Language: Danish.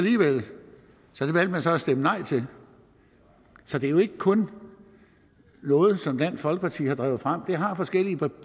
så det valgte man så at stemme nej til så det er jo ikke kun noget som dansk folkeparti har drevet frem det har forskellige